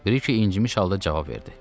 Biri ki incimiş halda cavab verdi.